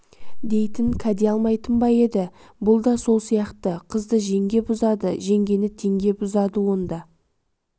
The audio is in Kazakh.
дейтін кәде алмайтын ба еді бұл да сол сияқты қызды жеңге бұзады жеңгені теңге бұзады онда